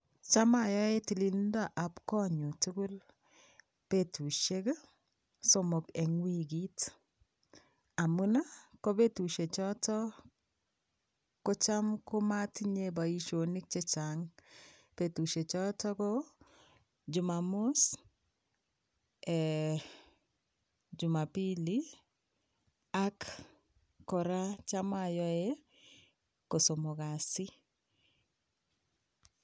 Cham ayoe tililindoab konyo tugul betusiek somok eng wikit amun ko betusiechoto ko cham ko matinye boisionik chechang. Betusiechoto ko chumamos, ee chumapili ak kora cham ayoe ko somok kasi.